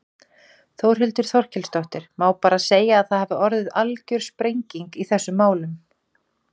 Þórhildur Þorkelsdóttir: Má bara segja að það hafi orðið algjör sprenging í þessum málum?